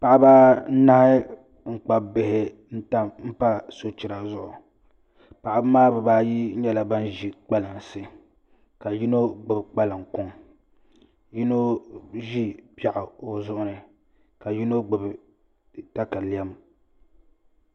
Paɣaba anahi n kpabi bihi n pa sochira zuɣu paɣaba maa bibaayi nyɛla ban ʒi kpalansi ka yino gbubi kpalaŋ kuŋ yino ʒi piɛɣu o zuɣu ni ka yino gbubi katalɛm